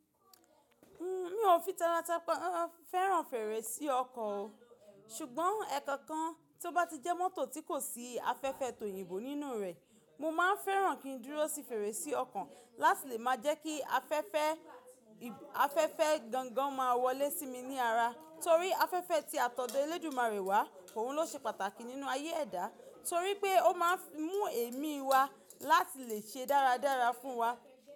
N o fi taratara fẹ́ràn fèrèsé ọkọ̀ o, ṣùgbọ́n ẹ̀kankan tí o bá ti jẹ́ mọ́tò tí kò sí afẹ́fẹ́ toyinbo nínú rẹ̀, mo má fẹ́ràn kín dúró sí fèrèsé ọkọ̀ láti lè má jẹ́ kí afẹ́fẹ́ afẹ́fẹ́ gangan má wọlé sí mi ni ara, torí afẹ́fẹ́ tí atode elédùmarè wà òun lọ ṣe pàtàkì nínú ayé ẹ̀dá, torí pé o má ń mú ẹ̀mí wá láti lè ṣe dáradára fún wa.